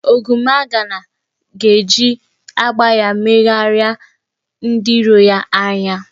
Ogwumagana ga-eji agba ya megharịa ndị iro ya anya.